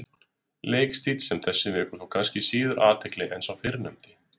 Leikstíll sem þessi vekur þó kannski síður athygli en sá fyrrnefndi.